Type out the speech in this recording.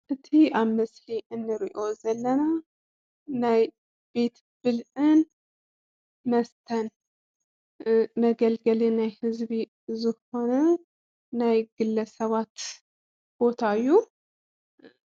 እቲ ኣብ ምስሊ እንሪኦ ዘለና ናይ ቤት ብልዕን መስተን መገልገሊ ናይ ህዝቢ ዝኾነ ናይ ግለሰባት ቦታ እዩ።